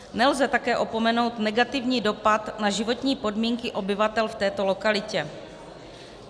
Nelze také opomenout negativní dopad na životní podmínky obyvatel v této lokalitě.